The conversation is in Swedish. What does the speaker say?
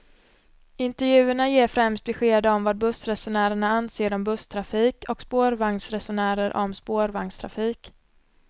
Intervjuerna ger främst besked om vad bussresenärerna anser om busstrafik och spårvagnsresenärer om spårvagnstrafik.